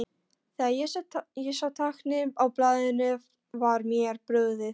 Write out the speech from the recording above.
Þegar ég sá táknin á blaðinu var mér brugðið.